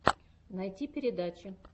найти передачи